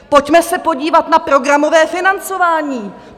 Pojďme se podívat na programové financování!